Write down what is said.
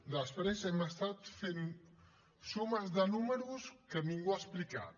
després hem estat fent sumes de números que ningú ha explicat